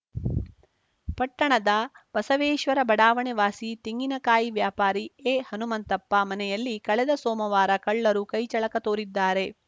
ಪಟ್ಟಣದ ಬಸವೇಶ್ವರ ಬಡಾವಣೆ ವಾಸಿ ತೆಂಗಿನ ಕಾಯಿ ವ್ಯಾಪಾರಿ ಎಹನುಮಂತಪ್ಪ ಮನೆಯಲ್ಲಿ ಕಳೆದ ಸೋಮವಾರ ಕಳ್ಳರು ಕೈಚಳಕ ತೋರಿದ್ದಾರೆ